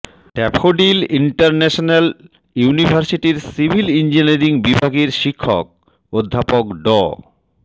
daffodil International ইউনিভার্সিটির civil engineering বিভাগের শিক্ষক অধ্যাপক ড